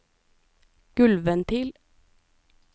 gulvventil